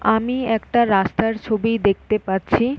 আমি একটা রাস্তার ছবি দেখতে পাচ্ছি--